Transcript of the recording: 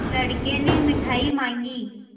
लड़के ने मिठाई मॉँगी